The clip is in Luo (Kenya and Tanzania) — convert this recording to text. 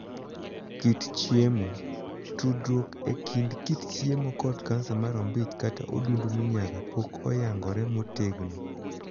Kit chiemo. Tudruok e kind kit chiemo kod kansa mar ombich kata odundu minyaga pok oyangore motegno.